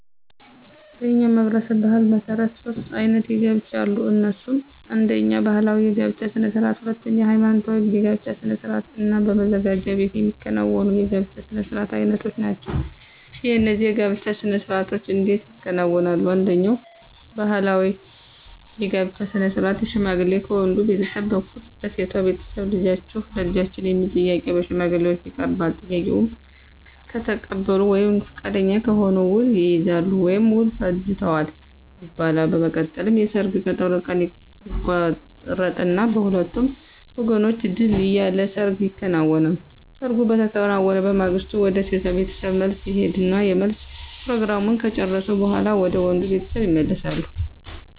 በእኛ ማህበረሰብ ባሕል መሠረት ሦስት አይነት የጋብቻ አሉ። እነሱም አነደኛ ባህላዊ የጋብቻ ስነ ስርዓት፣ ሁለተኛ ሐይማኖታዊ የጋብቻ ስነ ስርዓት እና መዘጋጃ ቤት የሚከናወኑ የጋብቻ ስነ ስርዓት አይነቶች ናቸው። እነዚህ የጋብቻ ስነ ስርዓቶች እንዴት ይከናወናሉ፣ አንደኛው ባህላዊ የጋብቻ ስነ ስርዓት ሽማግሌ ከወንድ ቤተሰብ በኩል ለሴቷ ቤተሰብ ልጃችሁን ለልጃችን የሚል ጥያቄ በሽማግሌዎች ይቀርባል፤ ጥያቄውን ከተቀበሉ ወይም ፈቃደኛ ከሆኑ ውል ይይዛሉ ወይም ውል ፈጅተዋል ይባላል። በመቀጠልም የሰርግ ቀጠሮ ቀን ይቆረጥና በሁለቱም ወገኖች ድል ያለ ሰርግ ይከናወናል። ሰርጉ በተከናወነ በማግስቱ ወደ ሴቷ ቤተሰብ መልስ ይሄዳሉ የመልስ ፕሮግራሙን ከጨረሱ በኋላ ወደ ወንዱ ቤተሰብ ይመለሳሉ።